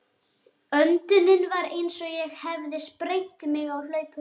Öndunin var eins og ég hefði sprengt mig á hlaupum.